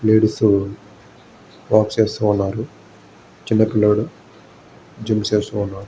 Ladies wax చేసుకున్నారు. చిన్న పిల్లోడు జిమ్ము చేస్తున్నాడు.